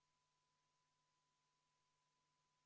Nüüd ma palun ka teil võtta selles suhtes seisukoht ja avaldada arvamust.